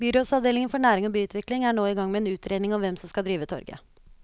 Byrådsavdelingen for næring og byutvikling er nå i gang med en utredning om hvem som skal drive torget.